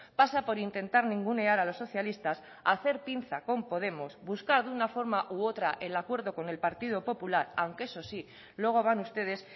pasa por intentar ningunear a los socialistas hacer pinza con podemos buscar de una forma u otra el acuerdo con el partido popular aunque eso sí luego van ustedes